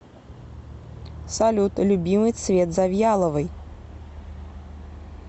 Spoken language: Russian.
салют любимый цвет завьяловой